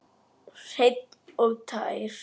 Hreinn og tær.